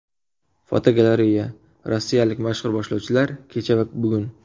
Fotogalereya: Rossiyalik mashhur boshlovchilar kecha va bugun.